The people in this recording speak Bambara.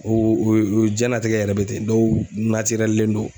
O o jiɲɛnatigɛ yɛrɛ be ten .Dɔw len don